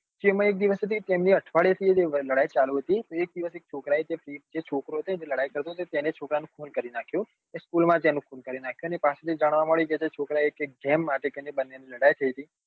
જેમા એક દિવસ એક અઠવાડિયે થી લડાઈ ચાલુ હતી એક દિવસ એક છોકરા એ જે છોકરો છે જેને લડાઈ ચાલતી હતી તેનું ખૂન કરી નાખ્યું એ school માંથી એનું ખૂન કરી નાખ્યું અને પાછળ થી જાણવામળ્યું કે છોકરા એ કઈક game માટે લડાઈ થઇ હતી